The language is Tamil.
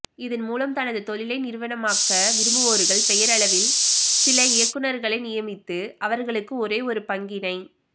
இதன் மூலம் தனது தொழிலை நிறுவனமாக்க விரும்புவோர்கள் பெயரளவில் சில இயக்குநர்களை நியமித்து அவர்களுக்கு ஒரே ஒரு பங்கினை